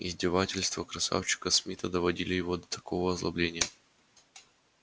издевательства красавчика смита доводили его до такого озлобления